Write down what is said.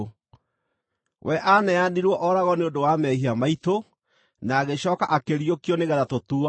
We aaneanirwo oragwo nĩ ũndũ wa mehia maitũ, na agĩcooka akĩriũkio nĩgeetha tũtuuo athingu.